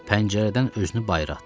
Pəncərədən özünü bayıra atdı.